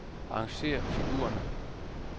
Arrangér figurerne.